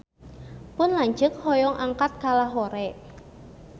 Pun lanceuk hoyong angkat ka Lahore